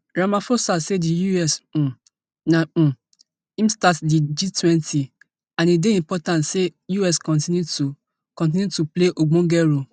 ramaphosa say di us um na um im start di gtwenty and e dey important say us continue to continue to play ogbonge role